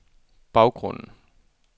baggrunden